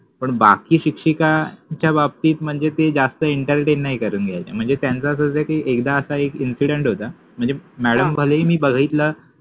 पण बाकि शिक्षिका च्या बाबतित मनजे ते जास्ति इंटरटेन नाहि करवुन घ्यायचे मनजे त्यांच अस होत कि एकदा असा एक इंसिडंट होता मनजे मॅड्म कडे मि बघितला